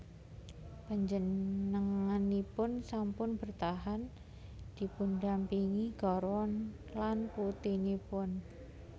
Panjenenganipun sampun bertahan dipundhampingi garwa lan putinipun